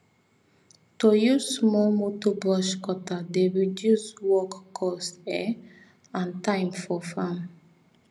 to use small motor brush cutter dey reduce work cost um and time for farm